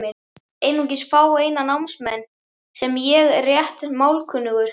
Einungis fáeina námsmenn, sem ég er rétt málkunnugur.